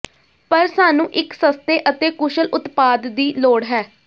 ਪਰ ਸਾਨੂੰ ਇੱਕ ਸਸਤੇ ਅਤੇ ਕੁਸ਼ਲ ਉਤਪਾਦ ਦੀ ਲੋੜ ਹੈ